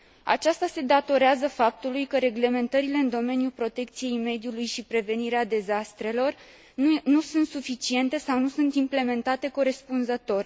Această situație este urmarea faptului că reglementările în domeniul protecției mediului și al prevenirii dezastrelor nu sunt suficiente sau nu sunt implementate corespunzător.